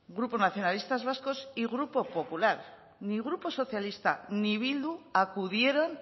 grupo nacionalistas vascos y grupo popular ni grupo socialista ni bildu acudieron